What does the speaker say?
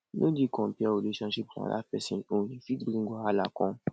no dey compare your relationship with another person own e fit bring wahala come